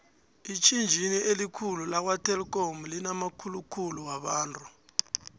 itjhitjhini elikhulu lakwa telikhomu linamakukhulu wabantu